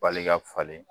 Bali ka falen